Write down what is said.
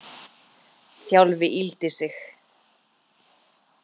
Þjálfi yggldi sig.